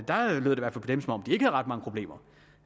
ret mange problemer